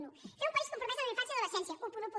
un fer un país compromès amb la infància i l’adolescència onze